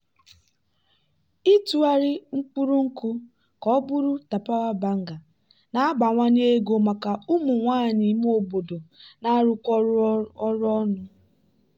ịtụgharị mkpụrụ nkwụ ka ọ bụrụ tapawa banga na-abawanye ego maka ụmụ nwanyị ime obodo na-arụkọ ọrụ ọnụ.